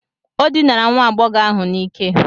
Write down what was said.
O dinara nwa agbọghọ ahụ n'ike.